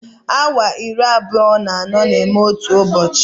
Awa iri abụọ na anọ na-eme otu ụbọchị